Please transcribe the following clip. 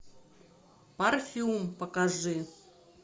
парфюм покажи